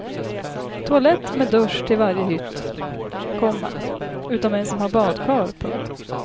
Toalett med dusch till varje hytt, komma utom en som har badkar. punkt